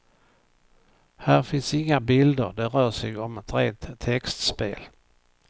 Här finns inga bilder, det rör sig om ett rent textspel.